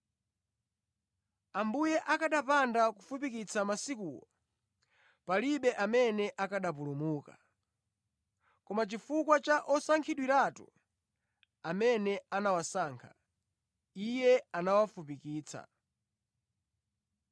Ambuye akanapanda kufupikitsa masikuwo, palibe amene akanapulumuka. Koma chifukwa cha osankhidwiratu, amene anawasankha, Iye anawafupikitsa.